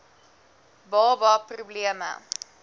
baba pro bleme